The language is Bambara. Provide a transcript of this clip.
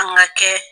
An ka kɛ